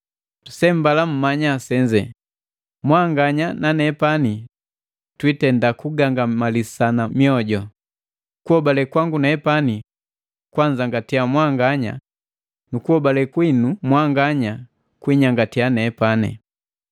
Sembala mmanya senze, mwanganya na nepani twitenda kugangamalisana moju, kuhobale kwangu nepani kwanzangatia mwanganya nukuhobale kwinu mwanganya kwinyangatia nepani.